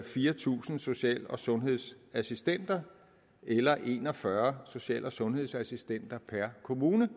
fire tusind social og sundhedsassistenter eller en og fyrre social og sundhedsassistenter per kommune